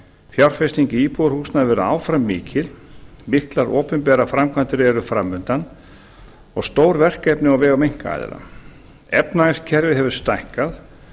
fjárfesting í íbúðarhúsnæði verður áfram mikil miklar opinberar framkvæmdir eru fram undan og stór verkefni á vegum einkaaðila efnahagskerfið hefur stækkað